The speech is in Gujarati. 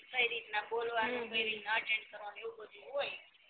કઈ રીતના બોલવાનું કઈ રીતના અટેન્ડ નું આવું બધુંય હોય